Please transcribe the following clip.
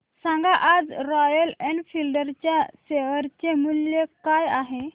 सांगा आज Royal Enfield च्या शेअर चे मूल्य काय आहे